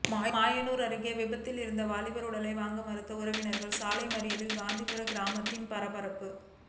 மாயனூர் அருகே விபத்தில் இறந்த வாலிபர் உடலை வாங்க மறுத்து உறவினர்கள் சாலை மறியல் காந்திகிராமத்தில் பரபரப்பு